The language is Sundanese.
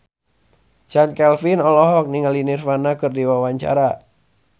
Chand Kelvin olohok ningali Nirvana keur diwawancara